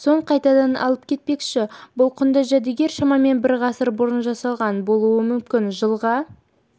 соң қайтадан алып кетпекші бұл құнды жәдігер шамамен бір ғасыр бұрын жасалған болуы мүмкін жылға